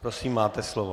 Prosím, máte slovo.